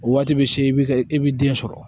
O waati bɛ se i bɛ ka i bɛ den sɔrɔ